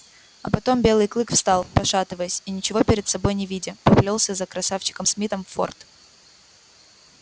а потом белый клык встал пошатываясь и ничего перед собой не видя поплёлся за красавчиком смитом в форт